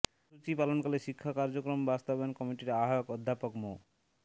কর্মসূচি পালনকালে শিক্ষা কার্যক্রম বাস্তবায়ন কমিটির আহ্বায়ক অধ্যাপক মো